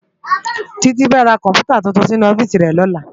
Titi fè rá kòmpútá túntún sinú òfìsí rè lòlá